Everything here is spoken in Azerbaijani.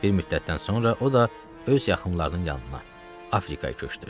Bir müddətdən sonra o da öz yaxınlarının yanına Afrikaya köçdü.